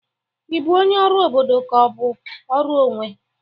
Ị bụ onye ọrụ obodo ka ọ bụ ọrụ onwe?